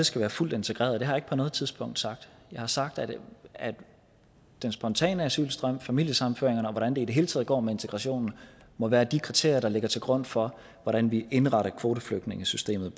skal være fuldt integreret det har jeg ikke på noget tidspunkt sagt jeg har sagt at at den spontane asylstrøm familiesammenføringerne og hvordan det i det hele taget går med integrationen må være de kriterier der ligger til grund for hvordan vi indretter kvoteflygtningesystemet